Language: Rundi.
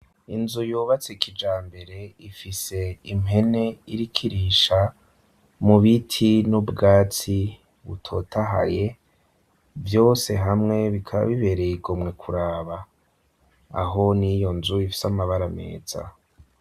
Inzu yubatse kijambere, ifise impene iriko irisha mu biti n'ubwatsi butotahaye, vyose hamwe bikaba bibereye igomwe kuraba, aho n'iyo nzu ifise amabara meza.